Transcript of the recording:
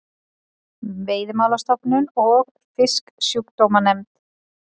Veiðimálastofnun og Fisksjúkdómanefnd.